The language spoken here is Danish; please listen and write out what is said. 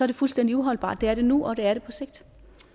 det fuldstændig uholdbart det er det nu og det er det på sigt